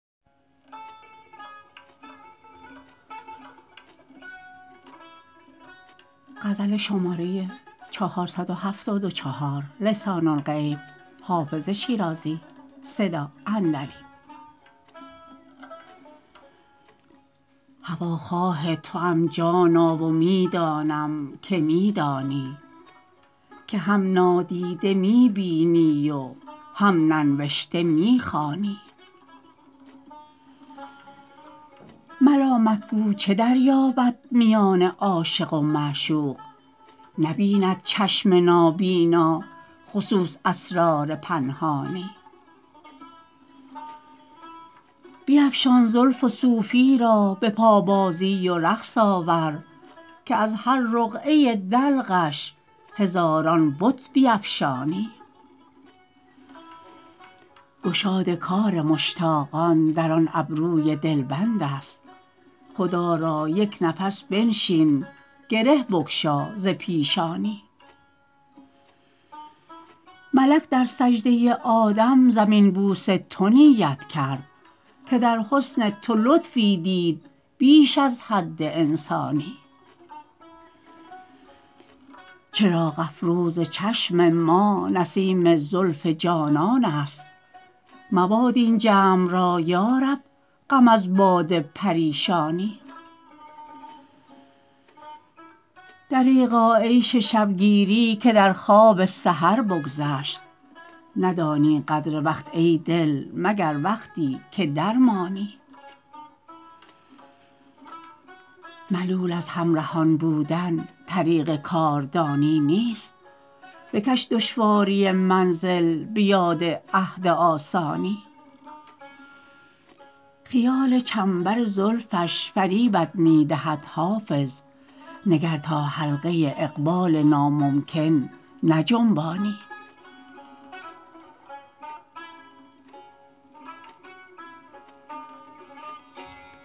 هواخواه توام جانا و می دانم که می دانی که هم نادیده می بینی و هم ننوشته می خوانی ملامت گو چه دریابد میان عاشق و معشوق نبیند چشم نابینا خصوص اسرار پنهانی بیفشان زلف و صوفی را به پابازی و رقص آور که از هر رقعه دلقش هزاران بت بیفشانی گشاد کار مشتاقان در آن ابروی دلبند است خدا را یک نفس بنشین گره بگشا ز پیشانی ملک در سجده آدم زمین بوس تو نیت کرد که در حسن تو لطفی دید بیش از حد انسانی چراغ افروز چشم ما نسیم زلف جانان است مباد این جمع را یا رب غم از باد پریشانی دریغا عیش شب گیری که در خواب سحر بگذشت ندانی قدر وقت ای دل مگر وقتی که درمانی ملول از همرهان بودن طریق کاردانی نیست بکش دشواری منزل به یاد عهد آسانی خیال چنبر زلفش فریبت می دهد حافظ نگر تا حلقه اقبال ناممکن نجنبانی